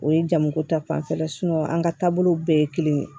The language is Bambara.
O ye jamuko ta fanfɛla ye an ka taabolow bɛɛ ye kelen